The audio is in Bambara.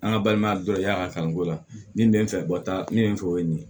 An ka balimaya dɔ y'a kanu ko la nin bɛ n fɛ bɔta min bɛ n fɛ o ye nin ye